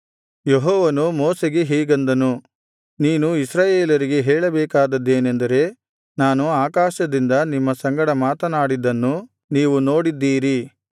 ಯೆಹೋವನು ಮೋಶೆಗೆ ಹೀಗೆಂದನು ನೀನು ಇಸ್ರಾಯೇಲರಿಗೆ ಹೇಳಬೇಕಾದದ್ದೇನೆಂದರೆ ನಾನು ಆಕಾಶದಿಂದ ನಿಮ್ಮ ಸಂಗಡ ಮಾತನಾಡಿದ್ದನ್ನು ನೀವು ನೋಡಿದ್ದೀರಿ